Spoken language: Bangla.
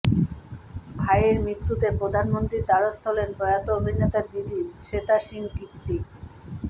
ভাইয়ের মৃত্যুতে প্রধানমন্ত্রীর দ্বারস্থ হলেন প্রয়াত অভিনেতার দিদি শ্বেতা সিং কীর্তি